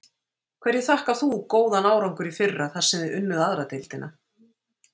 Hverju þakkar þú góðan árangur í fyrra þar sem þið unnið aðra deildina?